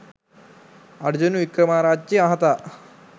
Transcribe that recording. අර්ජුන වික්‍රමාරච්චි මහතා